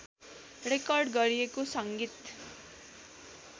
record गरिएको संगीत